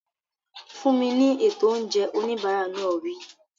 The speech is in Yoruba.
Fún mi ní ètò oúnjẹ! Oníbàárà náà wí.